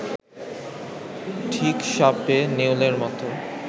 ঠিক সাপে-নেউলের মতো